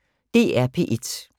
DR P1